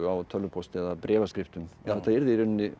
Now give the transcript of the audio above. tölvupósti eða bréfaskriftum þetta yrði í rauninni